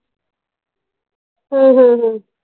हो हो हो